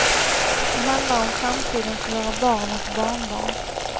Det handlar om framtiden för våra barn och barnbarn.